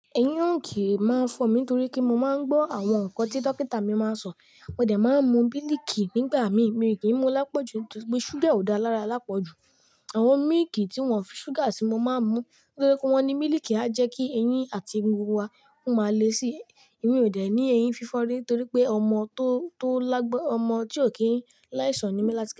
Ẹyin ò kí máa fọ mí torí kí mọ máa ń gbọ́ àwọn nǹkan tí dókítà mi máa ń sọ. Mo dẹ̀ máa ń mu mílìkì nígbà mí, míìkì mú lápọ̀jù, nitori pé sugar ò dáa lára lápọ̀jù. Àwọn mílìkì tí wọ́n o fi sugar sí, mo máa ń mú nítorí pé wọ́n ní mílìkì á jẹ́ kí eyín àti egungun wa wọ́n máa le sí. Èmi ò dẹ̀ ní eyín fífọ́ rí torí pé ọmọ tó, tó lágbọn, ọmọ tí ò kí ń láì sọ̀n ni mí láti ká.